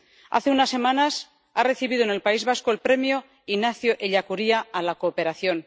Hace unas semanas, ha recibido en el País Vasco el Premio Ignacio Ellacuría a la cooperación.